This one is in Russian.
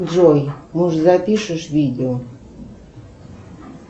джой может запишешь видео